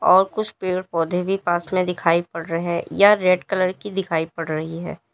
और कुछ पेड़ पौधे भी पास में दिखाई पड़ रहे यह रेड कलर की दिखाई पड़ रही है।